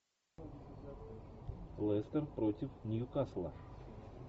лестер против ньюкасла